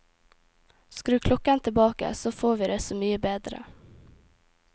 Skru klokken tilbake, så får vi det så mye bedre.